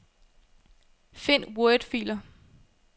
Find wordfiler.